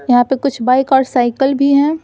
यहां पे कुछ बाइक और साइकल भी हैं।